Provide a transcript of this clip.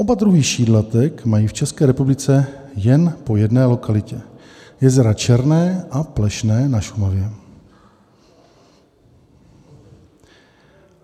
Oba druhy šídlatek mají v České republice jen po jedné lokalitě - jezera Černé a Plešné na Šumavě.